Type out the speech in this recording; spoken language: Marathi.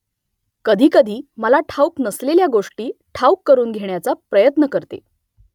कधीकधी मला ठाऊक नसलेल्या गोष्टी ठाऊक करून घेण्याचा प्रयत्न करते